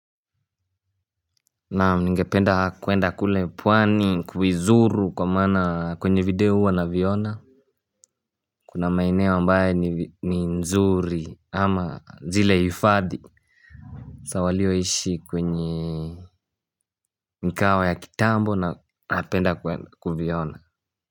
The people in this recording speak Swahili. Na ningependa kwenda kule pwani kuizuru kwa maana kwenye video huwa naviona. Kuna maeneo ambae ni nzuri ama zile hifadhi za walioishi kwenye mwaka ya kitambo na napenda kuiona.